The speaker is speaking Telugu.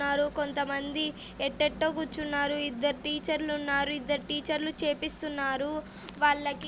కున్నారు కొందమంది ఎట్టెట్టొ కూర్చున్నారు. ఇద్దరు టీచర్లు ఉన్నారు. ఇద్దరు టీచర్లు చేపిస్తున్నారు వాళ్లకి --